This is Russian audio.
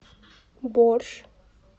борщ